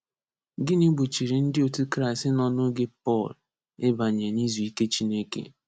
Gịnị gbochiri ndị otu Kraịst nọ n’oge Pọl ịbanye n’izu ike Chineke?